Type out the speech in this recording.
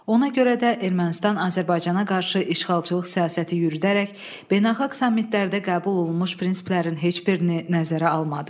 Ona görə də Ermənistan Azərbaycana qarşı işğalçılıq siyasəti yürüdərək beynəlxalq sammitlərdə qəbul olunmuş prinsiplərin heç birini nəzərə almadı.